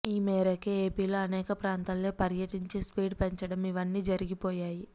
ఈ మేరకే ఏపీలో అనేక ప్రాంతాల్లో పర్యటించి స్పీడ్ పెంచడం ఇవ్వన్నీ జరిగిపోయాయి